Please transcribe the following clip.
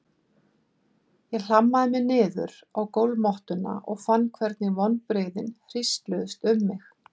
Ég hlammaði mér niður á gólfmottuna og fann hvernig vonbrigðin hrísluðust um mig.